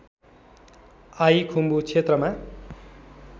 I Khumbu क्षेत्रमा